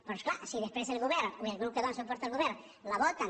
però és clar si després el govern o el grup que dóna suport al govern la voten